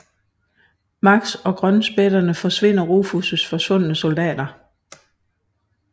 Max og Grønspætterne finder Rufus forsvundne soldater